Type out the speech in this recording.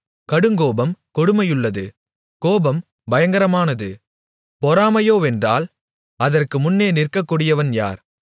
கடுங்கோபம் கொடுமையுள்ளது கோபம் பயங்கரமானது பொறாமையோவென்றால் அதற்கு முன்னே நிற்கக்கூடியவன் யார்